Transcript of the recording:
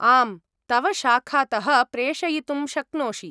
आम्, तव शाखातः प्रेषयितुं शक्नोषि।